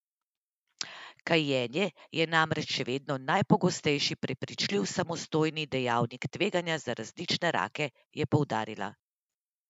Kajenje je namreč še vedno najpogostejši preprečljivi samostojni dejavnik tveganja za različne rake, je poudarila.